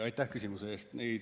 Aitäh küsimuse eest!